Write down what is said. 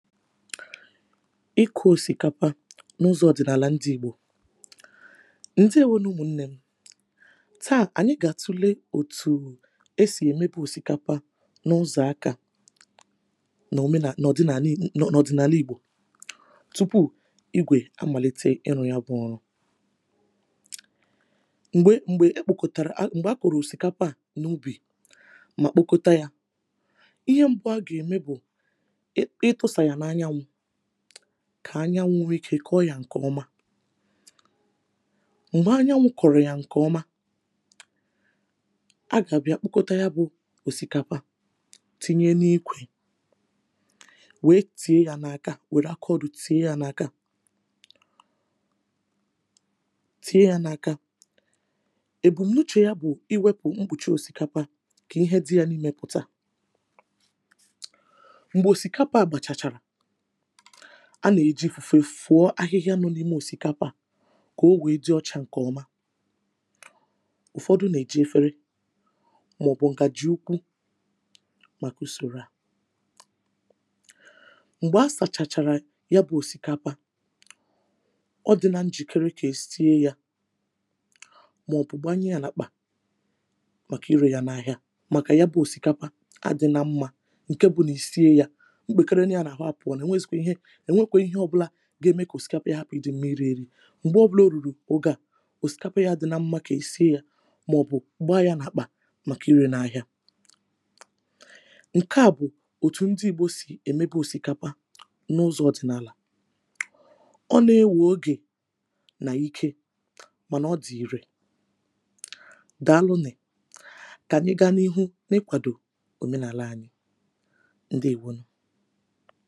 ịkụ̇ òsìkapa n’ụzọ̇ ọ̀dị̀nàlà ndi ìgbò ndi ewe n’ụmụ̀ nnè tàà ànyị gà-àtule òtù e sì èmebe òsìkapa n’ụzọ̀ akȧ na òmenà n’ọdịnàli n’ọdịnàli ìgbò tupu ìgwè amàlite ịrụ̇ yȧ bụ̇ ọrụ̇ m̀gbè m̀gbè e kpòkòtàrà m̀gbè a kụ̀rụ̀ òsìkapa à n’ubì mà kpokȯta yȧ ihe mbụ a gà-ème bụ̀ kà anyanwụ̇ ike kọọ yȧ ǹkè ọma m̀gbè anyanwụ̇ kọ̀rụ̀ yà ǹkè ọma a gà-àbịa kpụkọta yȧ bụ̀ òsìkapa tinye n’ikwè wèe tìe yȧ n’aka, wère akọrụ tìe yȧ n’aka tinye yȧ n’aka ebù mnuchè yȧ bụ̀ iwėpù mgbùchi òsìkapa kà ihe dị yȧ n’imėpụ̀ta a nà-èji ifùfe fùọ ahịhịa nọ n’ime òsìkapa kà o wèe dị ọchà ǹkèọma ụ̀fọdụ nà-èji efere màọbụ̀ ǹgàji ukwu màkà usòrò a m̀gbè a sàchàchàrà ya bụ̇ òsìkapa ọdịnȧ njìkere kà è site yȧ màọbụ̀ gbanye yȧ nàkpà màkà irė yȧ n’ahịa màkà ya bụ̇ òsìkapa adị̇ nȧ mmȧ ǹke bụ nà i sie yȧ ènwekwe ihe ọ̀bụlà ga-ème kà òsikapa ya hapụ̀ ịdị̇ mmiri èrị m̀gbè ọbụlà o rùrù ogè a òsikapa ya dị̇ na mmȧ kà è sie yȧ màọ̀bụ̀ gbaa yȧ nà ạkpà màkà ịrị̇ n’ahịa ǹke à bụ̀ òtù ndị igbo sì èmebe òsikapa n’ụzọ̇ ọ̀dị̀nàlà ọ na-ewù ogè nà ike mànà ọ dị̀ ìrè dàalụnè kànyị gȧ n’ihu n’ịkwàdò òmenàla anyị ndị wụnụ